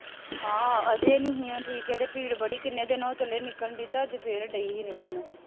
ਹਾਂ ਹਜੇ ਨਹੀਉਂ ਠੀਕ, ਹਜੇ ਪੀੜ ਬੜੀ ਕਿੰਨੇ ਦਿਨ ਹੋ ਚੱਲੇ ਨਿਕਲਣ ਡੀ ਤਾਂ ਅੱਜ ਫੇਰ ਡੇਈ ਸੀ ਨਿਕਲਣ